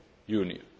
Union.